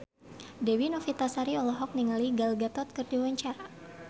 Dewi Novitasari olohok ningali Gal Gadot keur diwawancara